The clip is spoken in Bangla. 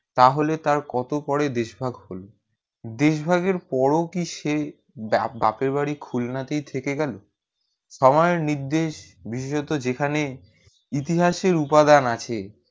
তা হলে তার কত পরে দেশ ভাগ হলো দেশ ভাগের পর কি সে বাপে বাড়ি খুলনা তে থেকে গেলো আমার নির্দেশ বিশেষত যেখানে ইতিহাসের উপাদান আছে